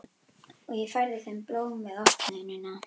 Og ég færði þeim blóm við opnunina.